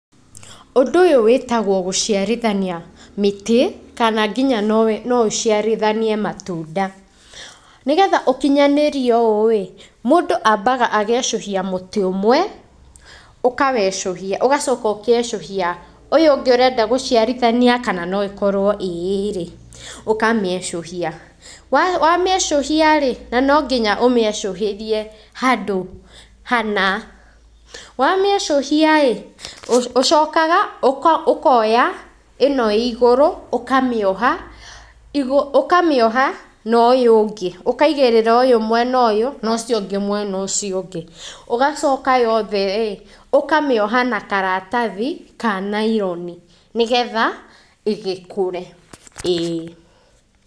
Ũndũ ũyũ wĩtagwo gũciarithania mĩtĩ kana nginya nowe no ũciarithanie matunda, nĩgetha ũkinyanĩrie ũũĩ, mũndũ ambaga agecũhia mũtĩ ũmwe, ũkawecũhia, ũgacoka ũgecũhia ũyũ ũngĩ ũrenda gũciarithania kana no ĩkorwo ĩĩrĩ, ũkamĩecũhia, wa wamĩecuhiarĩ, na nonginya ũmĩecũhĩrie handũ hana, wamĩecũhiaĩ, ũ ũcokaga ũ ũkoya ĩno ĩ igũrũ ũkamĩoha igũ ũkamĩoha na ũyũ ũngĩ, ũkaigĩrĩra ũyũ mwena ũyũ, na ũcio ũngĩ mwena ũcio ũngĩ, ũgacoka yotheĩ ũkamĩoha na karatathi kanaironi nĩ getha ĩgĩkũre, ĩĩ.